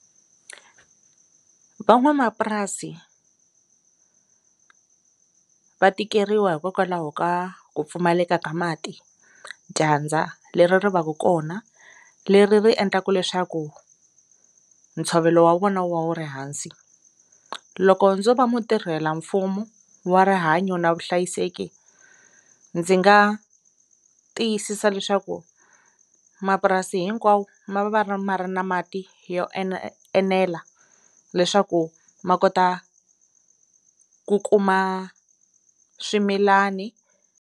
Van'wamapurasi va tikeriwa hikokwalaho ka ku pfumaleka ka mati dyandza leri ri va ka kona leri ri endlaku leswaku ntshovelo wa vona wu ri hansi loko ndzo va mutirhelamfumu wa rihanyo na vuhlayiseki ndzi nga tiyisisa leswaku mapurasi hinkwawo ma va ma ri na mati yo ene enela leswaku ma kota ku kuma swimilani.